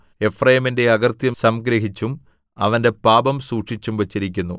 എഫ്രയീമിന്റെ അകൃത്യം സംഗ്രഹിച്ചും അവന്റെ പാപം സൂക്ഷിച്ചും വച്ചിരിക്കുന്നു